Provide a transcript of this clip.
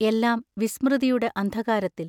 എല്ലാം വിസ്മൃതിയുടെ അന്ധകാരത്തിൽ.....